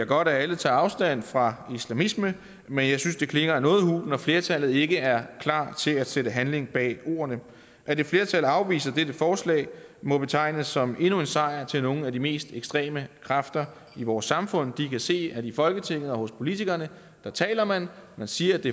godt at alle tager afstand fra islamisme men jeg synes det klinger noget hult når flertallet ikke er klar til at sætte handling bag ordene at et flertal afviser dette forslag må betegnes som endnu en sejr til nogle af de mest ekstreme kræfter i vores samfund de kan se at i folketinget og hos politikerne taler man man siger at det